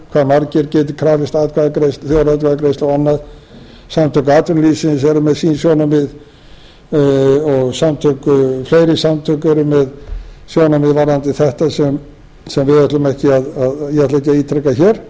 prósentur hvað margir geti krafist þjóðaratkvæðagreiðslu og annað samtök atvinnulífsins eru með sín sjónarmið og fleiri samtök eru með sjónarmið varðandi þetta sem ég ætla ekki að ítreka hér